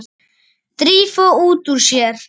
Drífa út úr sér.